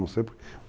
Não sei por quê.